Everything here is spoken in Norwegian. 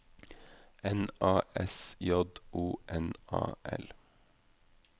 N A S J O N A L